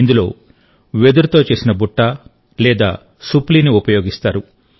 ఇందులో వెదురుతో చేసిన బుట్ట లేదా సుప్లిని ఉపయోగిస్తారు